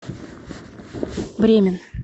бремен